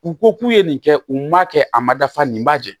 U ko k'u ye nin kɛ u ma kɛ a ma dafa nin ma jɛ